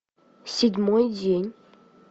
седьмой день